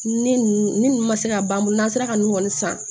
Ne n'u ma se ka ban n'an sera ka nin kɔni san